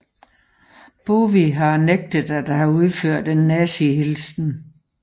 Bowie har nægtet at have udført en nazihilsen